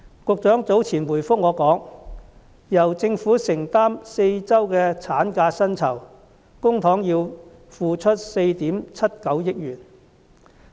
局長早前回覆我時表示，由政府承擔4周產假的薪酬，公帑要付出4億 7,900 萬元。